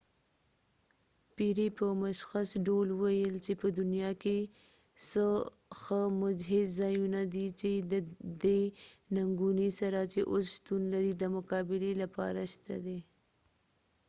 پیری په مشخص ډول وويل چې په دنیا کې څو ښه مجهز ځایونه دي چې ددې ننګونی سره چې اوس شتون لري دمقابلی لپاره شته دي